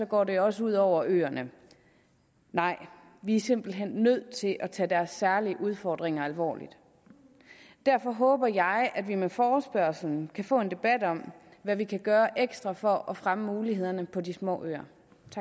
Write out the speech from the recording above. går det også ud over øerne nej vi er simpelt hen nødt til at tage deres særlige udfordringer alvorligt derfor håber jeg at vi med forespørgslen kan få en debat om hvad vi kan gøre ekstra for at fremme mulighederne på de små øer